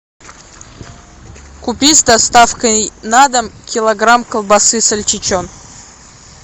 купить с доставкой на дом килограмм колбасы сальчичон